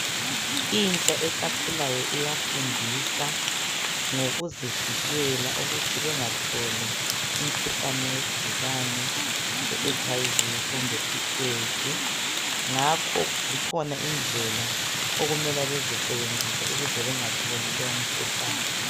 Intsha esakhulayo iyafundiswa ngokuzivikela ukuthi bengatholi umkhuhlane we gciwane iHIV kumbe aids. Ngakho zikhona indlela okumele bazisebenzise ukuze bengatholi lo umkhuhlane.